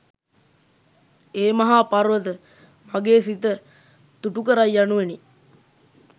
ඒ මහා පර්වත, මගේ සිත තුටුකරයි යනුවෙනි.